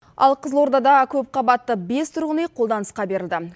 ал қызылордада көпқабатты бес тұрғын үй қолданысқа берілді